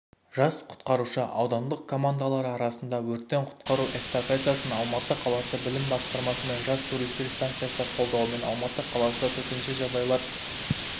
жас құтқарушы аудандық командалары арасындағы өрттен құтқару эстафетасын алматы қаласы білім басқармасы мен жас туристер станциясы қолдауымен алматы қаласы төтенше жағдайлар